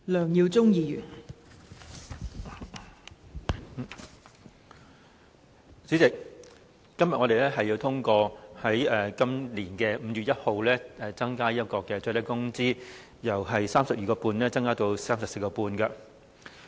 代理主席，今天我們要通過自本年5月1日起，把最低工資由 32.5 元增至 34.5 元。